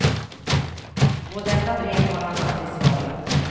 På detta brev har han aldrig svarat.